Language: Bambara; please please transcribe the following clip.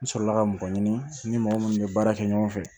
N sɔrɔla ka mɔgɔ ɲini n ni mɔgɔ minnu bɛ baara kɛ ɲɔgɔn fɛ